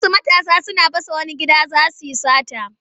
Wasu matasa suna fasa wani gida za su yi sata.